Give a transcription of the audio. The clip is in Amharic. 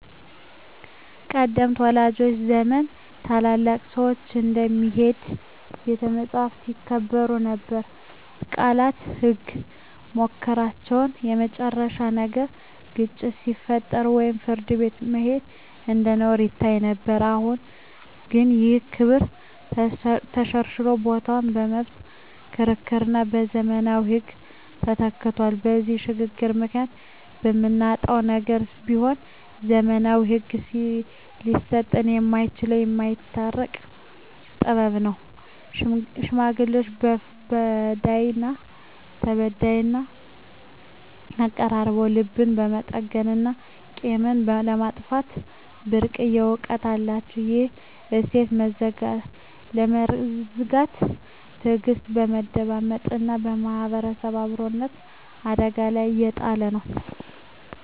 ቀደምት ወላጆቻችን ዘመን ታላላቅ ሰዎች እንደ "የሚሄድ ቤተ መጻሕፍት" ይከበሩ ነበር፤ ቃላቸው ህግ፣ ምክራቸው የመጨረሻ ነበር። ግጭት ሲፈጠር ወደ ፍርድ ቤት መሄድ እንደ ነውር ይታይ ነበር። አሁን ግን ይህ ክብር ተሸርሽሮ ቦታው በመብት ክርክርና በዘመናዊ ህግ ተተክቷል። በዚህ ሽግግር ምክንያት የምናጣው ነገር ቢኖር፣ ዘመናዊው ህግ ሊሰጠን የማይችለውን "የማስታረቅ ጥበብ" ነው። ሽማግሌዎች በዳይና ተበዳይን አቀራርበው ልብን የመጠገንና ቂምን የማጥፋት ብርቅዬ እውቀት አላቸው። ይህን እሴት መዘንጋት ትዕግስትን፣ መደማመጥንና ማህበራዊ አብሮነትን አደጋ ላይ እየጣለ ነው።